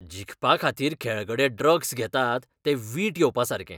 जिखपा खातीर खेळगडे ड्रग्स घेतात तें वीट येवपासारकें